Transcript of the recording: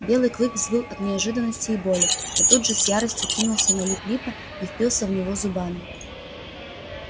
белый клык взвыл от неожиданности и боли но тут же с яростью кинулся на лип липа и впился в него зубами